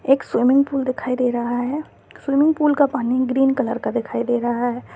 एक स्विमिंग-पूल दिखाई दे रहा है स्विमिंग-पूल का पानी ग्रेन कलर का दिखाई दे रहा है।